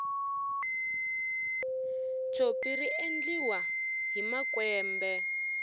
tshopi riendliwa hi makwembe